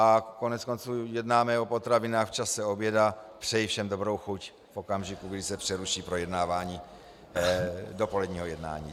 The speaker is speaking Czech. A koneckonců jednáme o potravinách v čase oběda, přeji všem dobrou chuť v okamžiku, kdy se přeruší projednávání dopoledního jednání.